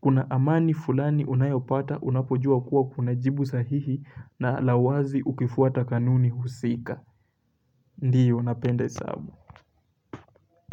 Kuna amani fulani unayopata unapojua kuwa kuna jibu sahihi na la wazi ukifuata kanuni husika. Ndiyo, napenda hesabu.